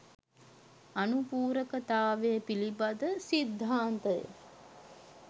අනුපූරකතාවය පිළිබඳ සිද්ධාන්තය